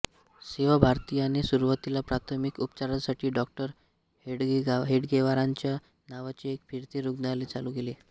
सेवाभारतीने सुरुवातीला प्राथमिक उपचारांसाठी डॉ हेडगेवारांच्या नावाचे एक फिरते रुग्णालय चालू केले